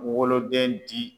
Woloden di